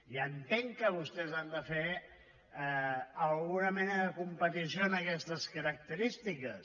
ja entenc que vostès han de fer alguna mena de competició d’aquestes característiques